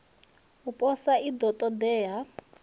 u posa i ḓo ṱoḓea